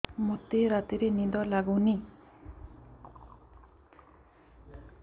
ମୋତେ ରାତିରେ ନିଦ ଲାଗୁନି